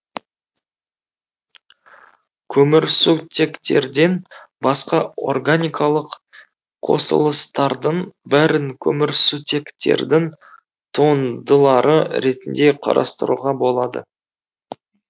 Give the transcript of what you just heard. көмірсутектерден басқа органикалық қосылыстардың бәрін көмірсутектердің туындылары ретінде қарастыруға болады